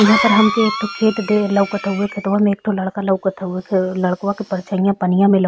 यहाँ पर हमके एक ठो खेत दे लवकत हवे। खेतवा मे एक ठो लड़का लवकत हवे। लड़कवा के परछाईया पनिया मे लव --